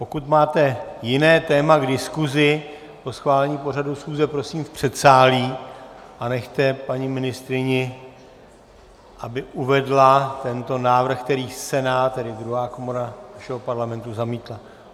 Pokud máte jiné téma k diskuzi po schválení pořadu schůze, prosím v předsálí, a nechte paní ministryni, aby uvedla tento návrh, který Senát, tedy druhá komora našeho Parlamentu, zamítl.